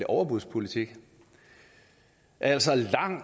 overbudspolitik altså